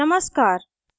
नमस्कार